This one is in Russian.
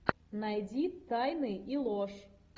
найди тайны и ложь